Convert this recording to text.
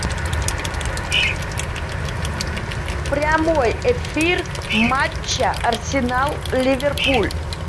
прямой эфир матча арсенал ливерпуль